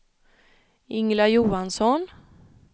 Ingela Johansson